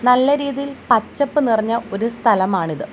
നല്ല രീതിയിൽ പച്ചപ്പ് നിറഞ്ഞ ഒരു സ്ഥലമാണിത്.